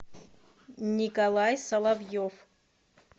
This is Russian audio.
николай соловьев